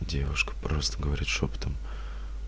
девушка просто говорит шёпотом